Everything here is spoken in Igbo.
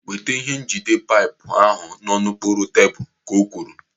Weta ihe njide paipu ahụ nọ n'okpuru tebụl, ka o kwuru.